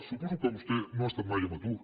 suposo que vostè no ha estat mai en atur